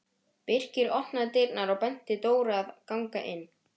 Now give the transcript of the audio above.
Birkir opnaði dyrnar og benti Dóru að ganga inn.